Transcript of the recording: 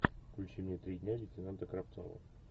включи мне три дня лейтенанта кравцова